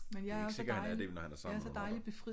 Det er ikke sikkert han er det når han er sammen med